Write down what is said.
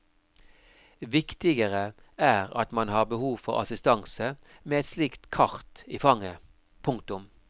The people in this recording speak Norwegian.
Viktigere er at man har behov for assistanse med et slikt kart i fanget. punktum